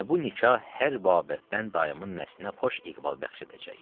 Və bu nikah hər babətdən dayımın nəslinə xoş iqbal bəxş edəcək.